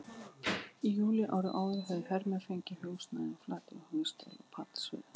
Í júlí árið áður höfðu hermenn fengið húsnæði á Flateyri, Hnífsdal og Patreksfirði.